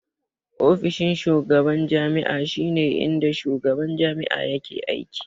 Ofishin shugaban jami'a shi ne inda shugaban jami'a yake aiki